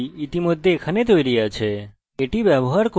php ইতিমধ্যে এখানে তৈরী আছে তাই আমি এটি ব্যবহার করব